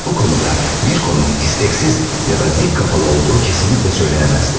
Bu konuda Mirko'nun isteksiz ya da dik kafalı olduğu kesinlikle söylenemezdi.